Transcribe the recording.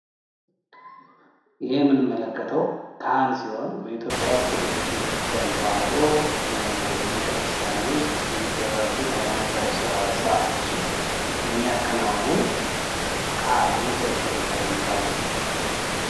ይህ የምንመለከተው ከሃን ሲሆን በኢትዮጵያ ኦርቶዶክስ ቤተክርስቲያን ተዋሕዶ ዉስጥ የሚደረጉ ሃይማኖታዊ ስርአቶችን የሚያከናውን ከሃን ወይም ቄስ በመባል የሚታወቅ ነው።